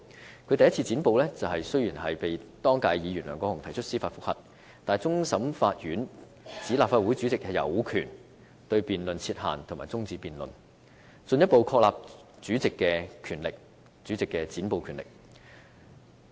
雖然他第一次"剪布"，被當屆議員梁國雄議員提出司法覆核，但終審法院裁定立法會主席有權對辯論設限和終止辯論，進一步確立主席的"剪布"權力。